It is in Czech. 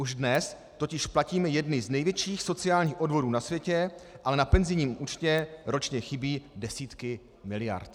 Už dnes totiž platíme jedny z největších sociálních odvodů na světě, ale na penzijním účtě ročně chybí desítky miliard...